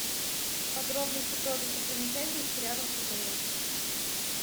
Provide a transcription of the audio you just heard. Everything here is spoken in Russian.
подробности про достопримечательности рядом с отелем